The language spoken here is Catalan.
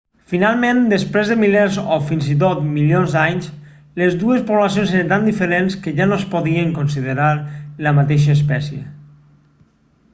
finalment després de milers o fins i tot milions d'anys les dues poblacions eren tan diferents que ja no es podien considerar la mateixa espècie